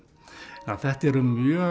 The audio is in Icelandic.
þetta eru mjög